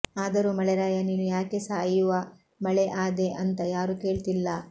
ಆದರೂ ಮಳೆರಾಯ ನೀನು ಯಾಕೆ ಸಾಯುವ ಮಳೆ ಆದೆ ಅಂಥ ಯಾರು ಕೇಳ್ತಿಲ್ಲಾ